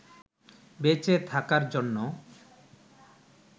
বেঁচে থাকার জন্য